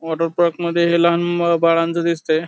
Water पार्कमध्ये हे लहान बाळांचा दिसतय.